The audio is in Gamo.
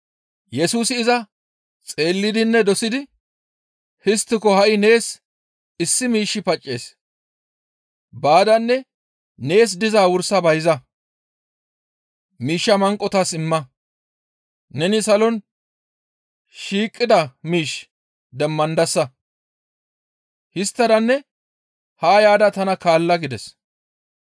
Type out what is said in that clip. Yesusi iza xeellidinne dosidi, «Histtiko ha7i nees issi miishshi paccees. Baadanne nees dizaa wursa bayza; miishshaa manqotas imma; neni salon shiiqida miish demmandasa; histtadanne haa yaada tana kaalla» gides.